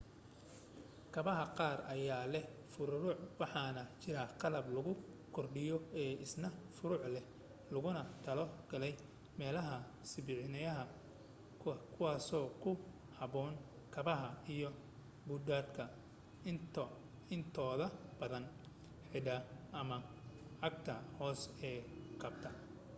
kabaha qaar ayaa leh furuuruc waxaana jira qalab lagu kordhiyo oo isna furuuruc leh looguna talo galay meelaha sibiibixanaya kuwaaso ku habboon kabaha iyo buudhka intooda badan cidhbaha ama cagta hoose ee kabta